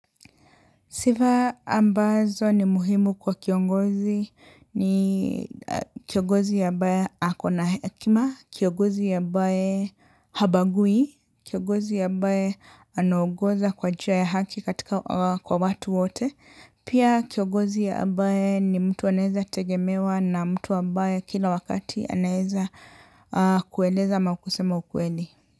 Sifa ambazo ni muhimu kwa kiongozi ni kiongozi ambaye ako na hekima, kiongozi ambaye habagui, kiongozi ambaye anaongoza kwa njia ya haki katika kwa watu wote, pia kiongozi ya ambaye ni mtu anaeza tegemewa na mtu anaeza kueleza ama kusema ukweli.